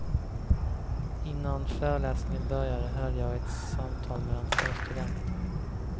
Innan föreläsningen började, hörde jag ett samtal mellan två studenter.